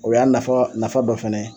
O y'a nafa nafa dɔ fɛnɛ